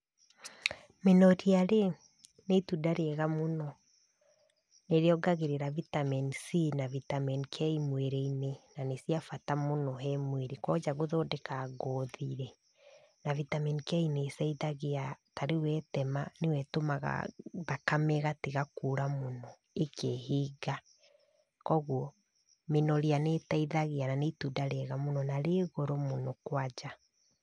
Inoria-rĩ, nĩ itunda rĩega mũno. Nĩrĩongagĩrĩra Vitamin C na Vitamin K mwĩrĩ-inĩ. Na nĩ cia bata mũno he mwĩrĩ, kwanja gũthondeka ngothi-rĩ, ta Vitamin K nĩteithagia, ta rĩu wetema nĩyo ĩtũmaga thakame ĩgatiga kũra mũno, ĩkehinga. Kogwo mĩnoria nĩteithagia, na nĩ itunda rĩega mũno, na rĩ goro mũno kwanja.